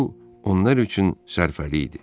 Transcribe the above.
bu onlar üçün sərfəli idi.